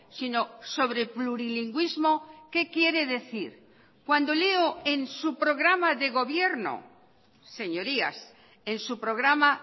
sino sobre plurilingüismo qué quiere decir cuando leo en su programa de gobierno señorías en su programa